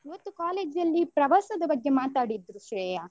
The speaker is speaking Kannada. ಇವತ್ತು college ಅಲ್ಲಿ ಪ್ರವಾಸದ ಬಗ್ಗೆ ಮಾತಾಡಿದ್ರು ಶ್ರೇಯ.